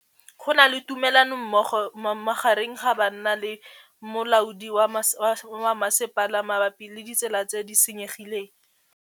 Go na le thulanô magareng ga banna le molaodi wa masepala mabapi le ditsela tse di senyegileng.